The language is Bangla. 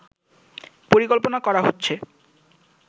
পরিকল্পনা করা হচ্ছে